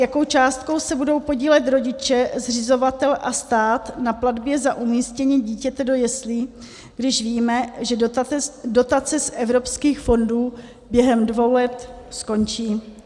Jakou částkou se budou podílet rodiče, zřizovatel a stát na platbě za umístění dítěte do jeslí, když víme, že dotace z evropských fondů během dvou let skončí?